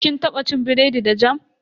Kin taba cin biredi da jam?